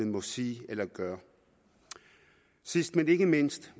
må sige eller gøre sidst men ikke mindst